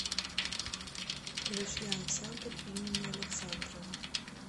включи ансамбль имени александрова